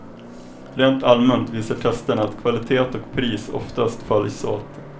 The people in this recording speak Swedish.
Rent allmänt visar testerna att kvalitet och pris oftast följs åt.